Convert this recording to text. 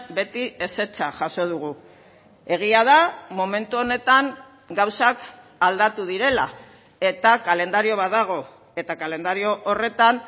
beti ezetza jaso dugu egia da momentu honetan gauzak aldatu direla eta kalendario bat dago eta kalendario horretan